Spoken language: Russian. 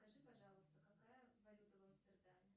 скажи пожалуйста какая валюта в амстердаме